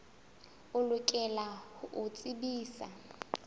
o lokela ho o tsebisa